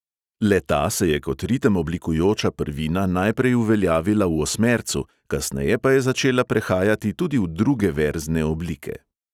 Le-ta se je kot ritem oblikujoča prvina najprej uveljavila v osmercu, kasneje pa je začela prehajati tudi v druge verzne oblike.